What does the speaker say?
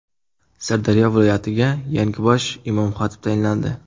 Sirdaryo viloyatiga yangi bosh imom-xatib tayinlandi.